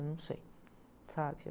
Eu não sei, sabe?